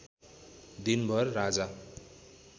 दिनभर राजा